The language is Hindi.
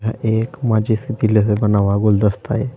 यह एक माचिस के तीले से बना हुआ गुलदस्ता--